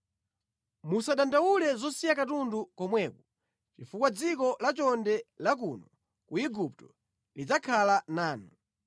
Musadandaule zosiya katundu komweko chifukwa dziko lachonde la kuno ku Igupto lidzakhala lanu.’ ”